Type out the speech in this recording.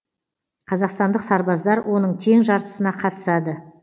қазақстандық сарбаздар оның тең жартысына қатысады